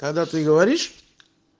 когда ты говоришь